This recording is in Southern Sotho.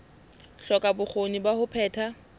hloka bokgoni ba ho phetha